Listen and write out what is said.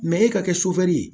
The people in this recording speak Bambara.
e ka kɛ ye